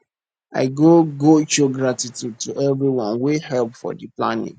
i go go show gratitude to everyone wey help for di planning